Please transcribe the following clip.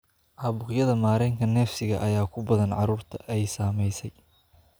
Caabuqyada mareenka neefsiga ayaa ku badan carruurta ay saameysay.